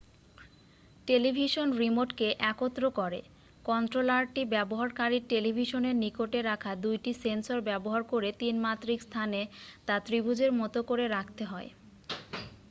television রিমোটকে একত্র করে কন্ট্রোলারটি ব্যবহারকারীর টেলিভিশনের নিকটে রাখা 2 টি সেন্সর ব্যবহার করে 3-মাত্রিক স্থানে তা ত্রিভুজের মত করে রাখতে হয়